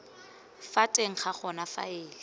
ka teng ga gona faele